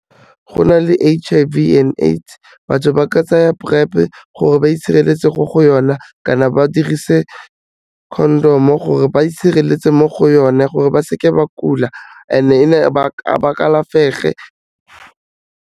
Go na le H_I_V and AIDS, batho ba ka tsaya PrEP gore ba itshireletse mo go yona kana ba dirise condom-o gore ba itshireletse mo go yone, gore ba seke ba kula and-e ba kalafege.